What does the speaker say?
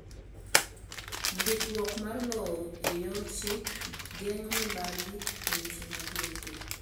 Ndikruok mar lowo e yor chik geng'o mibathi e weche mag lope.